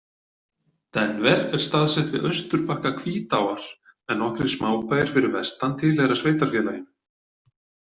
Denver er staðsett við austurbakka Hvítáar en nokkrir smábæir fyrir vestan tilheyra sveitarfélaginu.